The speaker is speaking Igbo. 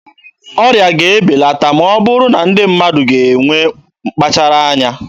Ọrịa ga-ebelata ma ọ bụrụ na ndị mmadụ ga-enwe mkpachara anya.